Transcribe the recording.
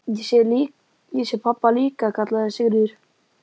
Ég sé pabba líka, kallaði Sigríður.